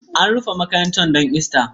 An rufe makarantar don Ista